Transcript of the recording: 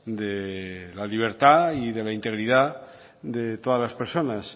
de la libertad y de la integridad de todas las personas